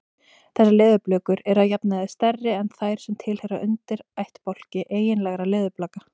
Þessar leðurblökur eru að jafnaði stærri en þær sem tilheyra undirættbálki eiginlegra leðurblaka.